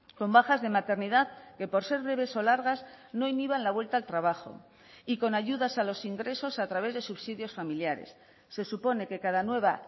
con bajas de maternidad que por ser breves o largas no inhiban la vuelta al trabajo y con ayudas a los ingresos a través de subsidios familiares se supone que cada nueva